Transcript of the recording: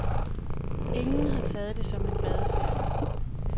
Ingen har taget det som en badeferie.